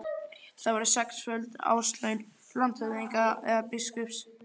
Það voru sexföld árslaun landshöfðingja eða biskups.